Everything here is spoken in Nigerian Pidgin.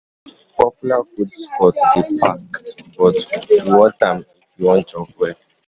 Popular food spots dey packed, but e worth am if you wan chop well.